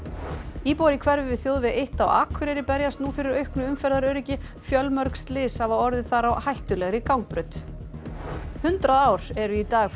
íbúar í hverfi við þjóðveg eitt á Akureyri berjast nú fyrir auknu umferðaröryggi fjölmörg slys hafa orðið þar á hættulegri gangbraut hundrað ár eru í dag frá